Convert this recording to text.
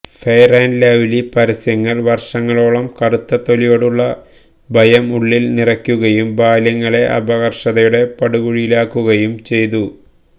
fair and Lovely പരസ്യങ്ങള് വര്ഷങ്ങളോളം കറുത്ത തൊലിയോടുള്ള ഭയം ഉള്ളില് നിറക്കുകയും ബാല്യങ്ങളെ അപകര്ഷതയുടെ പടുകുഴിയിലാക്കുകയും ചെയ്തു